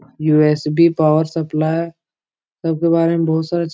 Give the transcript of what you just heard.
USB. Power supply सब के बारे में बोहोत सारे --